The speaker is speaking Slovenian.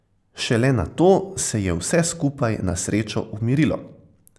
Šele nato se je vse skupaj na srečo umirilo.